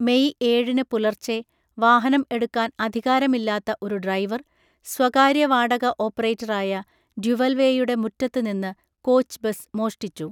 May ഏഴിന് പുലർച്ചെ, വാഹനം എടുക്കാൻ അധികാരമില്ലാത്ത ഒരു ഡ്രൈവർ, സ്വകാര്യ വാടക ഓപ്പറേറ്ററായ ഡ്യുവൽവേയുടെ മുറ്റത്ത് നിന്ന് കോച്ച് ബസ് മോഷ്ടിച്ചു.